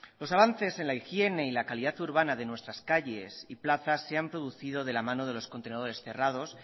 los avances en la higiene y la calidad urbana de nuestras calles y plazas se han producido de la mano de los contenedores cerrados